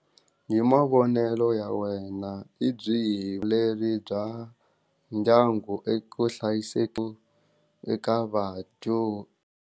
Hi mavonelo ya wena i byihi le ri bya ndyangu eku eka .